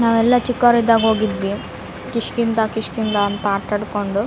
ನಾವೆಲ್ಲ ಚಿಕ್ಕೋರಿದ್ದಾಗ ಹೋಗ್ತಿದ್ವಿ ಕಿಷ್ಕಿಂದ ಕಿಷ್ಕಿಂದ ಅಂತ ಆಟಾಡ್ಕೊಂಡು.